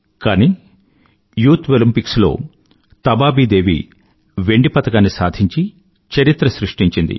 కానీ youth Olympics లో తబాబీ దేవి వెండి పతకాన్ని సాధించి చరిత్ర సృష్టించింది